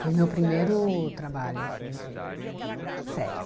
Foi o meu primeiro trabalho, assim de, sério.